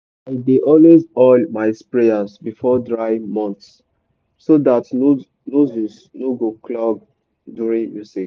i dey always oil my sprayers before dry months so dat nozzles no go clog during usage.